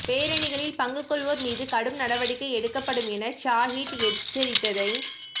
பேரணிகளில் பங்கு கொள்வோர் மீது கடும் நடவடிக்கை எடுக்கப்படும் என ஸாஹிட் எச்சரித்ததைத்